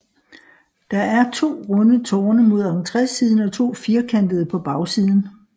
Der er to runde tårne mod entrésiden og to firkantede på bagsiden